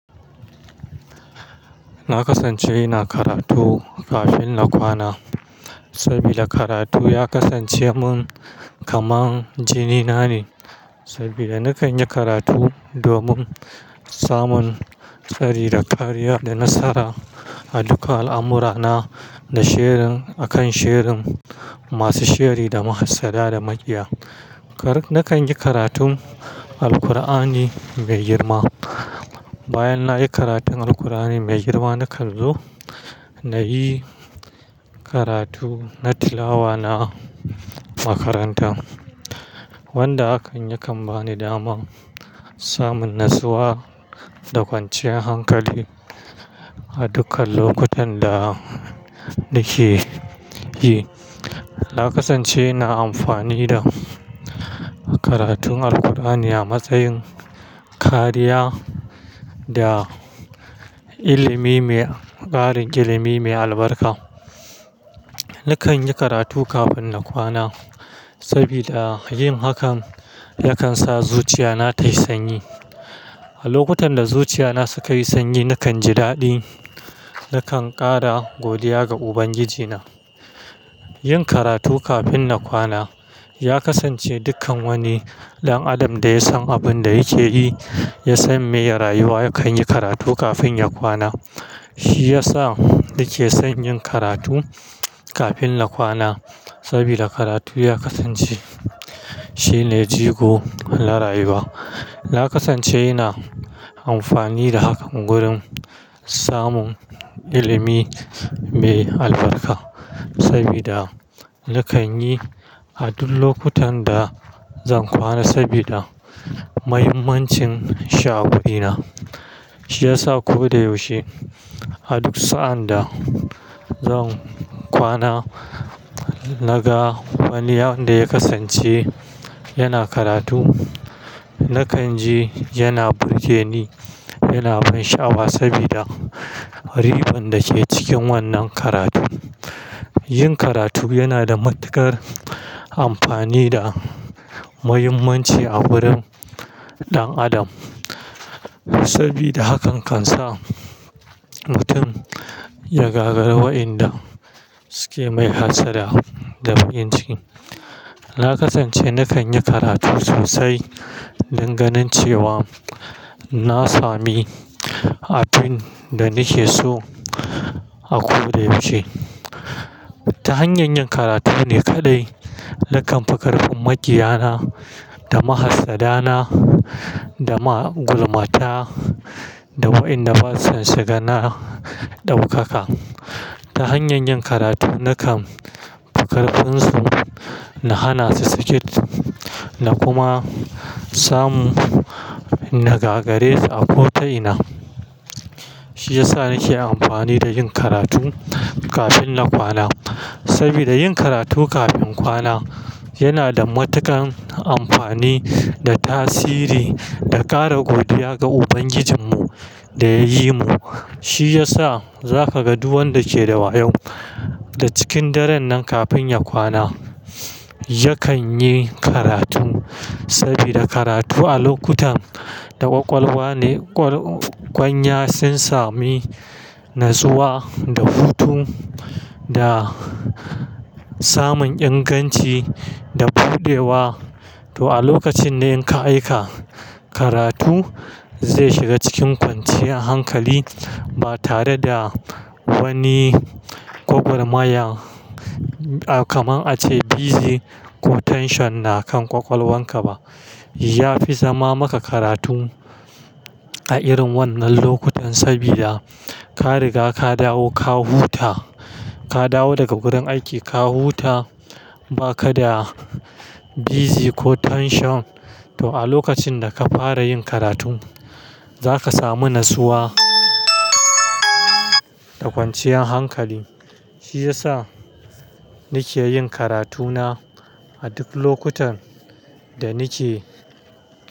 Na kasance ina karatu kafin na kwana, saboda karatu ya kasance mun kamar jini na ne. Sabida nakan yi karatu domin samun tsari da kariya da nasara a dukkan al'amurana da sherin akan sherin masu sheri da mahassada da makiya. Na kan yi karatun Alkur'ani mai girma. Bayan na yi karatun Alkur'ani mai girma, na kan zo na yi karatu na tilawa na makaranta wanda akan yi kan bani daman samun natsuwa da kwanciyar hankali a dukkan lokutan da nake yi. Na kasance ina amfani da karatun Alkur'ani a matsayin kariya da ilimi mai, ƙarin ilimi mai albarka. Nakan yi karatu kafin na kwana saboda yin hakan yakan sa zuciya na tayi sanyi. A lokutan da zuciya na suka yi sanyi, na kan ji daɗi. Na kan ƙara godiya ga Ubangiji na. Yin karatu kafin na kwana ya kasance dukkan wani ɗan adam da ya san abin da yake yi, ya san me ya rayuwa, yakan yi karatu kafin ya kwana. Shi ya sa nake son yin karatu kafin na kwana saboda karatu ya kasance shine jigo na rayuwa. Na kasance ina amfani da hakan wurin samun ilimi mai albarka sabida nakan yi a duk lokutan da zan kwana sabida muhimmancin sha'awuina. Shi ya sa ko da yaushe a duk sa'a da zan kwana, naga wani abin da ya kasance yana karatu. Na kan ji yana burge ni, yana ban sha'awa saboda riban da ke cikin wannan karatu. Yin karatu yana da matukar amfani da muhimmanci a wurin ɗan adam saboda hakan kan sa mutum ya gagara wa'inda suke mai hassada da inganci. Na kasance nakan yi karatu sosai danganin cewa na sami abin da nake so a ko da yaushe. Ta hanyar yin karatu ne kaɗai nakan fika rufin makiyana da mahassaddana da magulmata da wa'inda basu shiga na ɗaukaka. Ta hanyar yin karatu nakan fika rufinsu, na hana su ciki na kuma samu na gagaresa a ko ta ina. Shi ya sa nake amfani da yin karatu kafin na kwana. Saboda yin karatu kafin kwana yana da matuƙar amfani da tasiri da ƙara godiya ga Ubangijinmu da yayi mu. Shi ya sa za ka ga duk wanda ke da wayo da cikin daren nan kafin ya kwana, yakan yi karatu sabida karatu a lokutan da ƙwaƙwalwa ne, ƙwanya sun sami natsuwa da hutu da samun inganci da buɗewa. To a lokacin ne in ka aika karatu zai shiga cikin kwanciyar hankali ba tare da wani gwagwarmaya, kamar a ce busy ko tension na kan ƙwaƙwalwan ka ba. Yafi zama maka karatu a irin wannan lokutan saboda ka riga ka dawo ka huta, ka dawo daga gurin aiki ka huta ba ka da busy ko tension. To a lokacin da ka fara yin karatu za ka samu natsuwa da kwanciyar hankali. Shi ya sa nake yin karatu na a duk lokutan da nake.